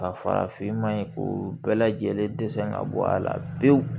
Ka farafin maɲi k'u bɛɛ lajɛlen dɛsɛ ka bɔ a la pewu